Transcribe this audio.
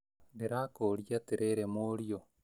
Ndĩrakũria atĩrĩrĩ mũriũ